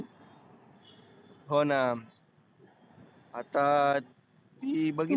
होना आता ती बघीतली.